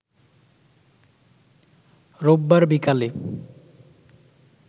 রোববার বিকালে